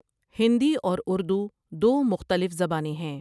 ہندی اور اردو دو مختلف زبانیں ہیں ۔